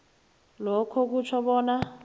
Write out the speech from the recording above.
lokhu kutjho bona